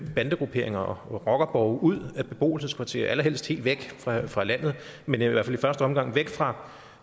bandegrupperinger og rockerborge ud af beboelseskvarterer allerhelst helt væk fra fra landet men i hvert fald i første omgang væk fra